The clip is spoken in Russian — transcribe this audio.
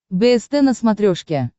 бст на смотрешке